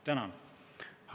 Tänan!